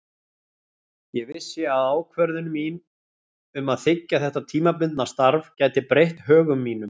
Ég vissi að ákvörðun mín um að þiggja þetta tímabundna starf gæti breytt högum mínum.